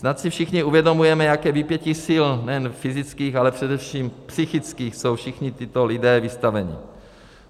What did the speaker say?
Snad si všichni uvědomujeme, jakému vypětí sil nejen fyzických, ale především psychických jsou všichni tito lidé vystaveni.